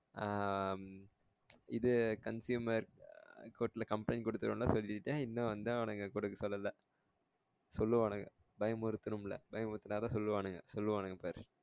ஆஹ் இது consumer court ல complaint குடுதிருவேன்லாம் சொல்லிட்டேன் இன்னும் வந்து அவனுங்க குடுக்க சொல்லல சொல்லுவானுங்க பயமுருத்தனும்ல பயமுருதுனாதான் சொல்லுவானுங்க சொல்லுவானுங்க பாரு